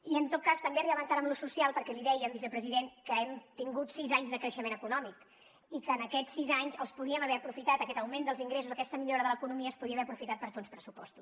i en tot cas també arribaven tard en lo social perquè li dèiem vicepresident que hem tingut sis anys de creixement econòmic i que en aquests sis anys els po díem haver aprofitat aquest augment dels ingressos aquesta millora de l’economia es podien haver aprofitat per fer uns pressupostos